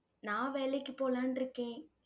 நான் வேலைக்கு போலான்ட்டிருக்கேன்.